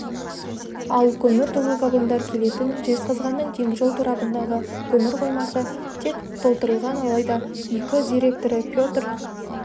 ал көмір толы вагондар келетін жезқазғанның теміржол торабындағы көмір қоймасы тек толтырылған алайда ик директоры петр